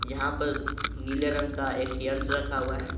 यहां पर नीले रंग का एक यंत्र रखा हुआ है।